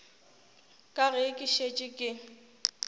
ka ge ke šetše ke